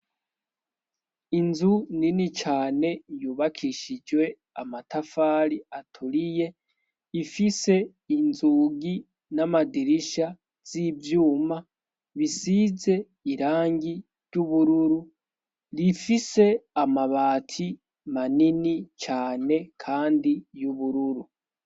inzu nini cane yubakishijwe amatafari aturiye ifise inzugi n'amadirisha z'ivyuma bisize irangi ry'ubururu rifise amabati manini cyane kandi y'ubururu